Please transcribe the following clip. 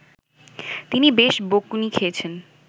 তিনি বেশ বকুনি খেয়েছেন